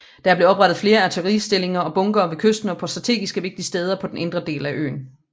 Der blev oprettet flere artilleristillinger og bunkere ved kysten og på strategiske vigtige steder på den indre del af øen